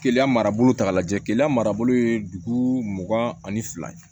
Keleya marabolo ta k'a lajɛ keleya marabolo ye dugu mugan ani fila ye